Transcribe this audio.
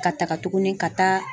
Ka taga tuguni ka taa.